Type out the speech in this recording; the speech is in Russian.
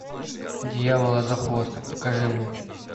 дьявола за хвост покажи мне